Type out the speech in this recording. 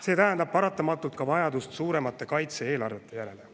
See tähendab paratamatult ka vajadust suuremate kaitse-eelarvete järele.